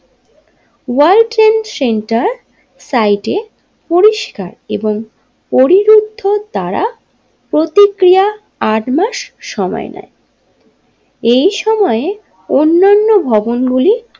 World trade centre site এ পরিষ্কার এবং পরিবৃত্তর দ্বারা প্রতিক্রিয়া আটমাস সময় নেই এই সময়ে অন্নান্য ভবনগুলি।